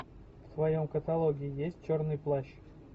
в твоем каталоге есть черный плащ